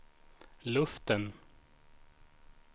luften